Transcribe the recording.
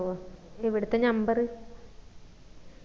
ഇവിടുത്തെ number